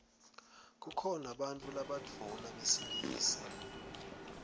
kukhona bantfu labadvuna besilisa